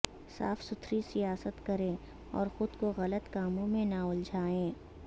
صاف ستھری سیاست کریں اور خود کو غلط کاموں میں نہ الجھائیں